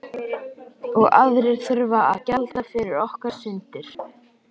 Og aðrir þurfa að gjalda fyrir okkar syndir.